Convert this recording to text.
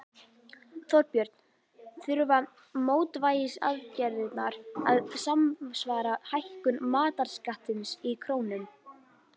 Þorbjörn: Þurfa mótvægisaðgerðirnar að samsvara hækkun matarskattsins í krónum?